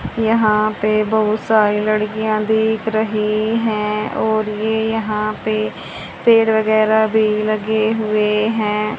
यहां पे बहुत सारी लड़कियां दिख रही हैं और ये यहां पे पेड़ वैगैराह भी लगे हुए हैं।